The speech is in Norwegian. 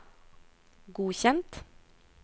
godkjent